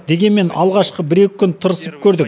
дегенмен алғашқы бір екі күн тырысып көрдік